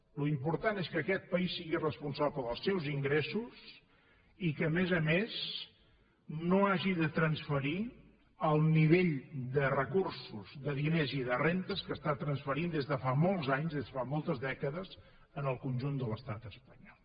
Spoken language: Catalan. l’important és que aquest país sigui responsable dels seus ingressos i que a més a més no hagi de transferir el nivell de recursos de diners i de rendes que està transferint des de fa molts anys des de fa molts dècades al conjunt de l’estat espanyol